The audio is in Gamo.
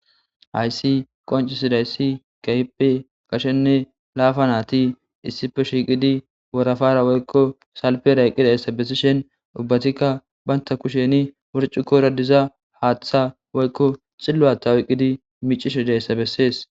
Haysi qoncisidayssi kahipe gashenne laafa naati issife shiiqidi worafara woykko salpera yqqida yssa bessishen ubbatikka baynta kusheni wurcu koradiza haaththa woykko xilluwata woyqqidi micishe deyssa bessees.